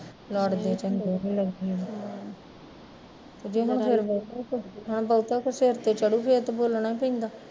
ਲੜਦੇ ਚੰਗੇ ਨੀ ਲੱਗੀ ਦਾ ਤੇ ਜਦੋਂ ਫਿਰ ਬਹੁਤਾ ਕੋਈ ਸਿਰ ਤੇ ਚੜੁ ਫਿਰ ਤੇ ਬੋਲਣਾ ਪੈਂਦਾ